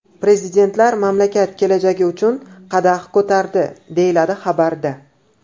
Prezidentlar mamlakat kelajagi uchun qadah ko‘tardi, deyiladi xabarda.